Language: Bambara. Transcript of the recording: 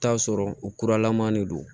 Taa sɔrɔ u kuralaman de don